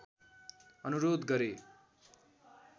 अनुरोध गरे